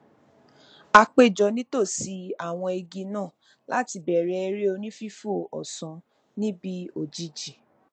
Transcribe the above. a péjọ nítòsí àwọn igi náà láti bẹrẹ eré onífífò ọsán níbi òjìjí